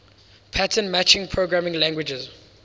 pattern matching programming languages